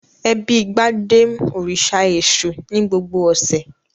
Ẹbí Gbadé ń òrìṣà Èṣù ní gbogbo ọ̀sẹ̀.